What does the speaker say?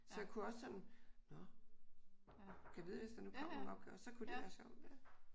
Så jeg kunne også sådan nå gad vide hvis der nu kommer nogle opgaver. Så kunne det være sjovt